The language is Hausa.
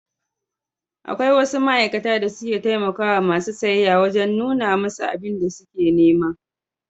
Akwai wasu ma'aikata da suke taimakawa masu siyayya wajen nuna musu abun da suke nema.